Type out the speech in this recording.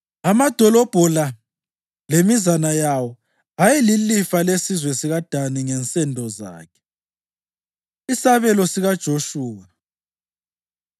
Amadolobho la lemizana yawo ayeyilifa lesizwe sikaDani ngensendo zakhe. Isabelo SikaJoshuwa